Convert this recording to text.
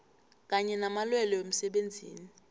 kanye namalwelwe wemsebenzini